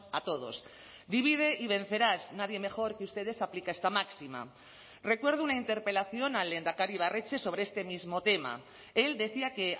a todos divide y vencerás nadie mejor que ustedes aplica esta máxima recuerdo una interpelación al lehendakari ibarretxe sobre este mismo tema él decía que